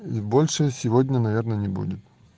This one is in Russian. и больше сегодня наверное не будет